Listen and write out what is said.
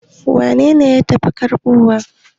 waye ya tafi karbowa?